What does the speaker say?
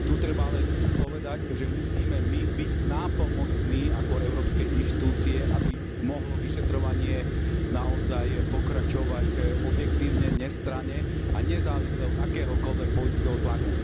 Tu treba ale povedať, že musíme my byť nápomocní ako európske inštitúcie, aby mohlo vyšetrovanie naozaj pokračovať objektívne, nestranne a nezávisle od akéhokoľvek politického tlaku.